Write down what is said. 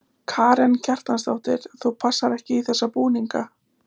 Karen Kjartansdóttir: Þú passar ekki í þessa búninga?